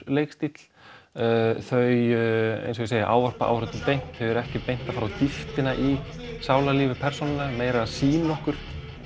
leikstíll þau ávarpa áhorfendur beint þau eru ekki beint að fara á dýptinni í sálarlíf persónanna meira að sýna okkur